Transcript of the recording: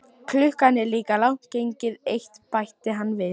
Klukkan er líka langt gengin í eitt, bætti hann við.